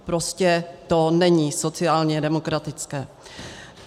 Prostě to není sociálně demokratické.